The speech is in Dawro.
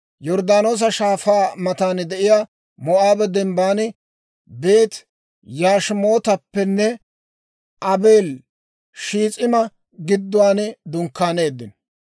Yorddaanoosa Shaafaa matan de'iyaa Moo'aaba Dembban, Beeti-Yashimootappenne Aabeeli-Shiis'ima gidduwaan dunkkaaneeddino.